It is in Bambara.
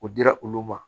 O dira olu ma